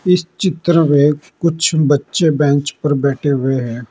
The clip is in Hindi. इस चित्र में कुछ बच्चे बेंच पर बैठे हुए हैं।